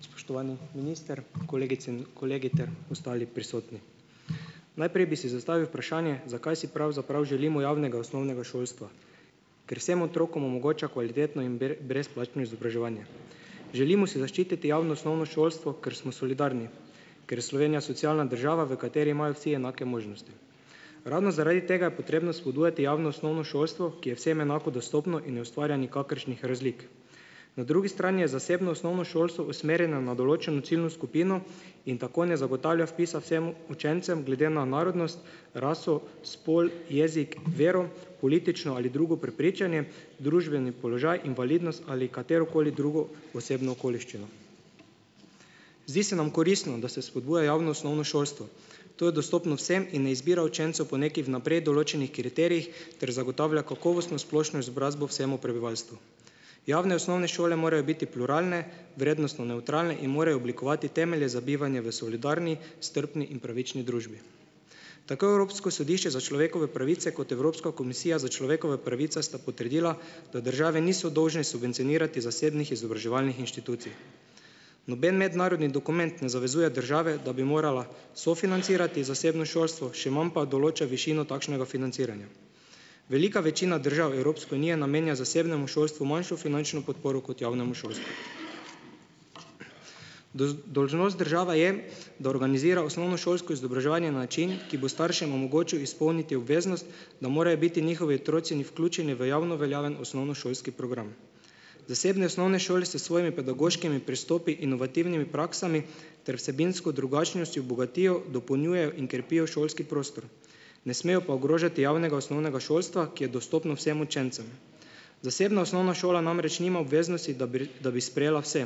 Spoštovani minister, kolegice in kolegi ter ostali prisotni! Najprej bi si zastavil vprašanje, zakaj si pravzaprav želimo javnega osnovnega šolstva? Ker vsem otrokom omogoča kvalitetno in brezplačno izobraževanje. Želimo si zaščititi javno osnovno šolstvo, ker smo solidarni, ker je Slovenija socialna država, v kateri imajo vsi enake možnosti. Ravno zaradi tega je potrebno spodbujati javno osnovno šolstvo, ki je vsem enako dostopno in ne ustvarja nikakršnih razlik. Na drugi strani je zasebno osnovno šolstvo usmerjeno na določeno ciljno skupino in tako ne zagotavlja vpisa vsem učencem, glede na narodnost, raso, spol, jezik, vero, politično ali drugo prepričanje, družbeni položaj, invalidnost ali katerokoli drugo osebno okoliščino. Zdi se nam koristno, da se spodbuja javno osnovno šolstvo. To je dostopno vsem in ne izbira učencev po nekih vnaprej določenih kriterijih ter zagotavlja kakovostno splošno izobrazbo vsemu prebivalstvu. Javne osnovne šole morajo biti pluralne, vrednostno nevtralne in morajo oblikovati temelje za bivanje v solidarni, strpni in pravični družbi. Tako Evropsko sodišče za človekove pravice kot Evropska komisija za človekove pravice sta potrdila, da države niso dolžne subvencionirati zasebnih izobraževalnih inštitucij. Noben mednarodni dokument ne zavezuje države, da bi morala sofinancirati zasebno šolstvo, še manj pa določa višino takšnega financiranja. Velika večina držav Evropske unije namenja zasebnemu šolstvu manjšo finančno podporo kot javnemu šolstvu. Dolžnost države je, da organizira osnovnošolsko izobraževanje na način, ki bo staršem omogočil izpolniti obveznost, da morajo biti njihovi otroci vključeni v javno veljaven osnovnošolski program. Zasebne osnovne šole se s svojimi pedagoškimi pristopi, inovativnimi praksami ter vsebinsko drugačnostjo bogatijo, dopolnjujejo in krepijo šolski prostor, ne smejo pa ogrožati javnega osnovnega šolstva, ki je dostopno vsem učencem. Zasebna osnovna šola namreč nima obveznosti, da bi da bi sprejela vse,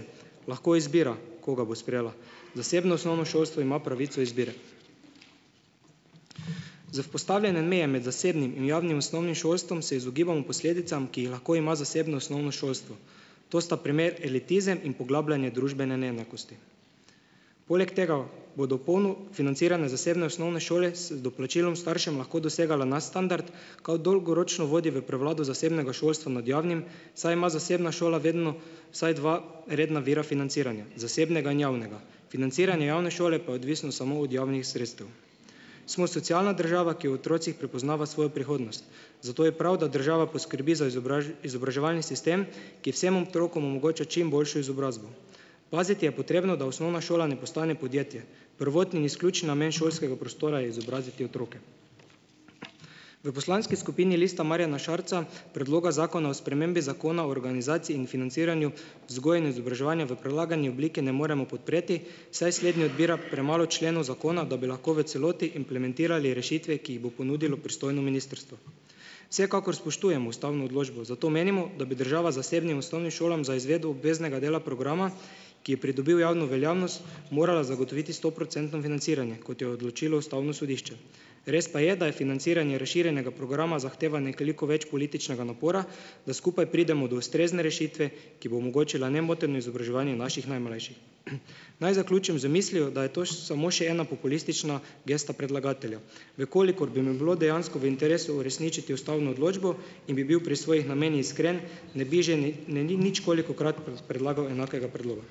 lahko izbira, koga bo sprejela. Zasebno osnovno šolstvo ima pravico izbire. Za vzpostavljanje meje med zasebnim in javnim osnovnim šolstvom se izogibamo posledicam, ki jih lahko ima zasebno osnovno šolstvo. To sta primer elitizem in poglabljanje družbene neenakosti. Poleg tega, bodo polno financirane zasebne osnovne šole z doplačilom staršev lahko dosegale nadstandard, kar dolgoročno vodi v prevlado zasebnega šolstva nad javnim, saj ima zasebna šola vedno vsaj dva redna vira financiranja zasebnega in javnega. Financiranje javne šole pa je odvisno samo od javnih sredstev. Smo socialna država, ki v otrocih prepoznava svojo prihodnost, zato je prav, da država poskrbi za izobraževalni sistem, ki vsem otrokom omogoča čim boljšo izobrazbo. Paziti je potrebno, da osnovna šola ne postane podjetje. Prvotni in izključni namen šolskega prostora je izobraziti otroke. V poslanski skupini Lista Marjana Šarca predloga zakona o spremembi Zakona o organizaciji in financiranju vzgoje in izobraževanja v predlagani obliki ne moremo podpreti, saj slednji odbira premalo členov zakona, da bi lahko v celoti implementirali rešitve, ki jih bo ponudilo pristojno ministrstvo. Vsekakor spoštujemo ustavno odločbo, zato menimo, da bi država zasebnim osnovnim šolam za izvedbo obveznega dela programa, ki je pridobil javno veljavnost, morala zagotoviti stoprocentno financiranje, kot je odločilo ustavno sodišče. Res pa je, da je financiranje razširjenega programa zahteva nekoliko več političnega napora, da skupaj pridemo do ustrezne rešitve, ki bo omogočila nemoteno izobraževanje naših najmlajših. Naj zaključim z mislijo, da je to samo še ena populistična gesta predlagatelja. V kolikor bi mu bilo dejansko v interesu uresničiti ustavno odločbo in bi bil pri svojih namenih iskren, ne bi že ne ničkolikokrat predlagal enakega predloga.